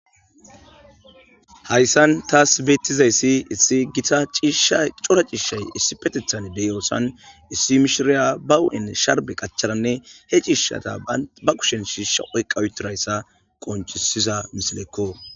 Hayssan tas beetizayssi issi gita ciishay cora ciishay issippetethan de7iyossan issi mishshiriya ba huuphe sharbbe qachadanne he ciishshata ba kushen shishsha oyqqa uttidayssa qonccisiza misileko